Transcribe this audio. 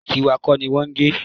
Tíwa kọ́ ni wọ́n gé